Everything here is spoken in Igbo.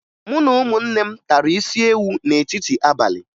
Mụ na ụmụnne m tara isiewu n'etiti abalị